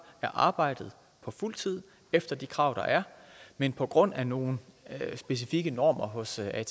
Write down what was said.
er arbejdet på fuld tid efter de krav der er men på grund af nogle specifikke normer hos atp